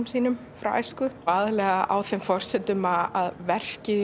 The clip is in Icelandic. sínum frá æsku aðallega á þeim forsendum að verkið